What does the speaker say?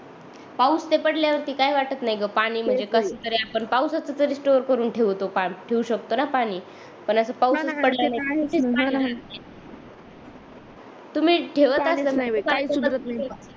पाऊस ते पडल्या वरती काही वाटत नाही ग पाणी म्हणजे कस तरी आपण पाऊस असत तर स्टोर करून ठेवतो पाणी ठेऊ शकतो न पाणी तुम्ही ठेवत